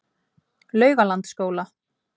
Laugalandsskóla